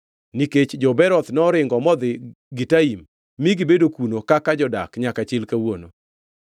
nikech jo-Beeroth noringo modhi Gitaim mi gibedo kuno kaka jodak nyaka chil kawuono.